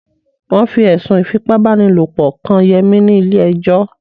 Wọ́n fi ẹ̀sùn Ífipá-báni-lòpọ̀ kan Yẹmí ni ilé ẹjọ́